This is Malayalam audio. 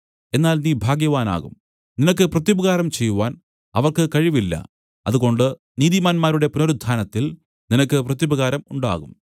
എന്നാൽ നീ ഭാഗ്യവാനാകും നിനക്ക് പ്രത്യുപകാരം ചെയ്‌വാൻ അവർക്ക് കഴിവില്ല അതുകൊണ്ട് നീതിമാന്മാരുടെ പുനരുത്ഥാനത്തിൽ നിനക്ക് പ്രത്യുപകാരം ഉണ്ടാകും